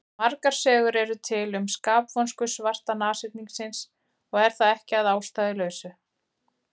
Margar sögur eru til um skapvonsku svarta nashyrningsins og er það ekki að ástæðulausu.